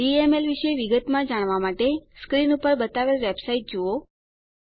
DML વિશે વિગતમાં જાણવાં માટે સ્ક્રીન પર બતાવેલ વેબસાઈટ જુઓ